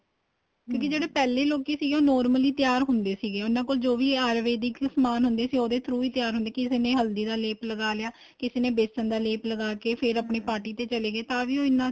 ਕਿਉਂਕਿ ਜਿਹੜੇ ਪਹਿਲੇ ਲੋਕੀ ਸੀਗੇ ਉਹ normally ਤਿਆਰ ਹੁੰਦੇ ਸੀਗੇ ਉਹਨਾ ਕੋਲ ਜੋ ਵੀ ਏ ਆਯੂਰਵੇਦਿਕ ਸਮਾਨ ਹੁੰਦਾ ਸੀ ਉਹਦੇ throw ਤਿਆਰ ਹੁੰਦੇ ਕਿਸੇ ਨੇ ਹੱਲਦੀ ਦਾ ਲੇਪ ਲਗਾ ਲਿਆ ਕਿਸੇ ਨੇ ਵੇਸਨ ਦਾ ਲੇਪ ਲਗਾਕੇ ਫੇਰ ਆਪਣੀ ਚੱਲੇ ਗਏ ਤਾਂ ਵੀ ਇੰਨਾ